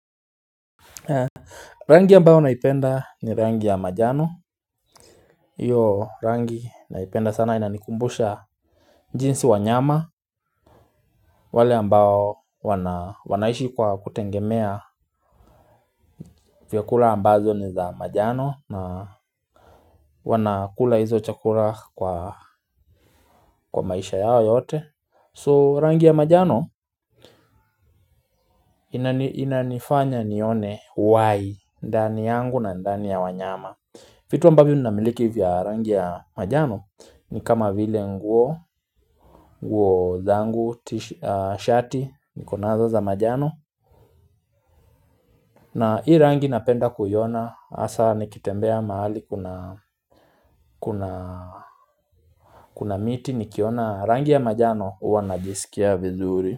Rangi ambayo naipenda ni rangi ya majano. Iyo rangi naipenda sana inanikumbusha jinsi wanyama wale ambao wanaishi kwa kutengemea vyakula ambazo ni za majano na wanakula hizo chakula kwa maisha yao yote So rangi ya majano inanifanya nione Why ndani yangu na ndani ya wanyama. Fitu ambavyo namiliki vya rangi ya majano. Ni kama vile nguo, nguo zangu, shati, nikonazo za majano na hii rangi napenda kuiona, hasa nikitembea mahali kuna miti. Nikiona rangi ya majano huwanajisikia vizuri.